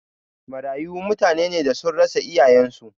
Marayu mutane ne da sun rasa iyayen su